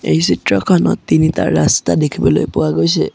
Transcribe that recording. এই চিত্ৰখনত তিনিটা ৰাস্তা দেখিবলৈ পোৱা গৈছে।